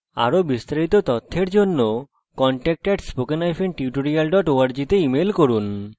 আরো বিস্তারিত জানার জন্য contact @spokentutorial org তে যোগযোগ করুন